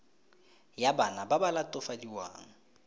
ya bana ba ba latofadiwang